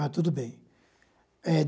Ah, tudo bem. É